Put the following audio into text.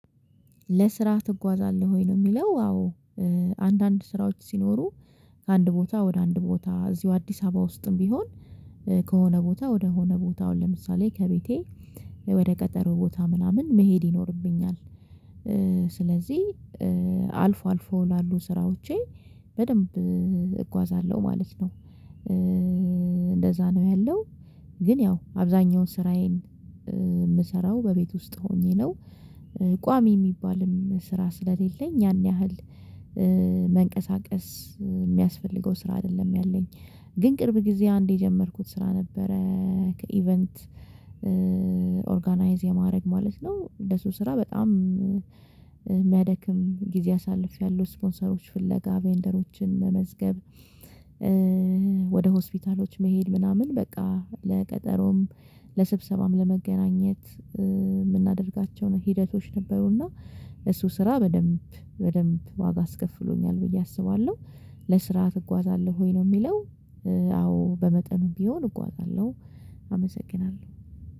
ለስራ ትጓዛለህ ወይ ነው የሚለው? አዎ። አንዳንድ ስራዎች ሲኖሩ ከአንድ ቦታ ወደ አንድ ቦታ እዚሁ አዲስ አበባ ውስጥም ቢሆን ከሆነ ቦታ ወደ ሆነ ቦታ ለአሁን ምሳሌሌ ከቤቴ ወደ ቀጠሮ ቦታ ምናምን መሄድ ይኖርብኛል። ስለዚህ አልፎ አልፎ ያላሉ ስራዎቼ በደንብ እጓዛለሁ ማለት ነው። እንደዛ ነው ያለው ግን ያው አብዛኛውን ስራዬን የምሰራው በቤት ውስጥ ሆኜ ነው። ቋሚ የሚባልም ስራ ስለሌለኝ ያን ያህል መንቀሳቀስ የሚያስፈልገው ስራ አይደለም ያለኝ ግን ቅርብ ጊዜ አንዴ የጀመርኩት ስራ ነበረ። ከኢቨንት ኦርጋናይዝ የማድረግ ማለት ነው። ለሱ ስራ በጣም የሚያደክም ጊዜ አሳልፌያለሁ ስፖንሰሮች ፍለጋ ቬንደሮችን መመዝገብ። ወደ ሆስፒታሎች መሄድ ምናምን በቃ ለቀጠሮም ለስብሰባም ለመገናኘት የምናደርጋቸውን ሂደቶች ነበሩና እሱ ስራ በደንብ በደንብ ዋጋ አስከፍሎኛል ብዬ አስባለሁ። ለስራ ትጓዛለህ ወይ ነው የሚለው? አዎ በመጠኑ ቢሆን እጓዛለሁ። አመሰግናለሁ